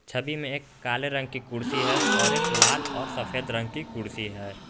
छवि मैं एक काले रंग की कुर्सी है और एक लाल और सफेद रंग की कुर्सी है।